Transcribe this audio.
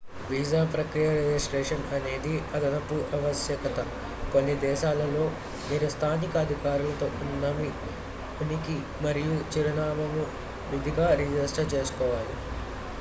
visa ప్రక్రియకు registration అనేది అదనపు ఆవశ్యకత కొన్ని దేశాల్లో మీరు స్థానిక అధికారులతో ఉన్న మీ ఉనికి మరియు చిరునామాను విధిగా రిజిస్టర్ చేసుకోవాలి